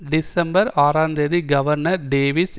December ஆறு ந்தேதி governor Davis